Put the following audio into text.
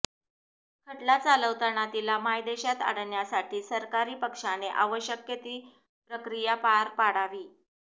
खटला चालवताना तिला मायदेशात आणण्यासाठी सरकारी पक्षाने आवश्यक ती प्रक्रिया पार पाडावी